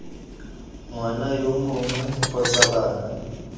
ngwana yo mongwe kgotsa bana